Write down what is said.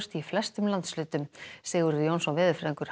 í flestum landshlutum Sigurður Jónsson veðurfræðingur